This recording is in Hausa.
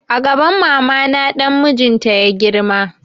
A gaban mama na dan mijin ta ya girma